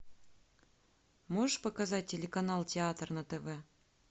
можешь показать телеканал театр на тв